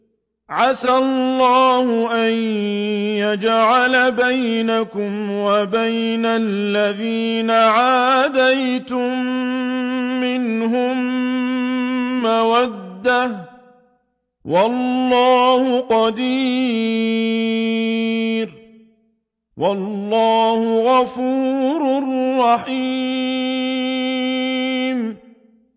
۞ عَسَى اللَّهُ أَن يَجْعَلَ بَيْنَكُمْ وَبَيْنَ الَّذِينَ عَادَيْتُم مِّنْهُم مَّوَدَّةً ۚ وَاللَّهُ قَدِيرٌ ۚ وَاللَّهُ غَفُورٌ رَّحِيمٌ